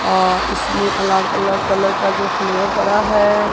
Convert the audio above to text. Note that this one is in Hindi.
और इसमें अलग अलग कलर का जो फ्लेवर पड़ा है।